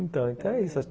Então, é isso.